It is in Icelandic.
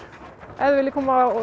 ef þið viljið koma